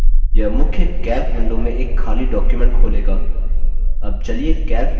यह मुख्य calc window में एक खाली document खोलेगा